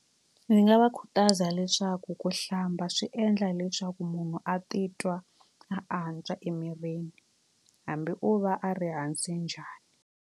Ndzi nga va khutaza leswaku ku hlamba swi endla leswaku munhu a titwa a antswa emirini hambi o va a ri hansi njhani.